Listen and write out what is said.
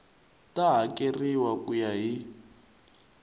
ta hakeriwa ku ya hi